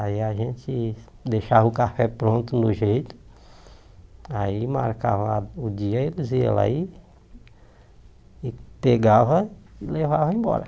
Aí a gente deixava o café pronto no jeito, aí marcava o dia, eles iam lá e e pegavam e levavam embora.